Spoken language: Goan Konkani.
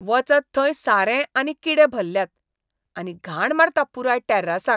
वचत थंय सारें आनी किडे भल्ल्यात, आनी घाण मारता पुराय टॅर्रासाक.